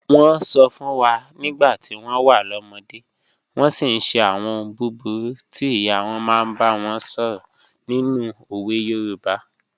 Wọ́n sọ fún wa nígbà tí wọ́n wà lọ́mọdé, wọ́n sì ń ṣe àwọn ohun búburú tí ìyá wọn máa ń bá wọn sọ̀rọ̀ nínú òwe Yorùbá.